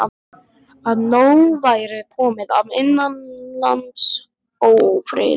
Að nóg væri komið af innanlandsófriði.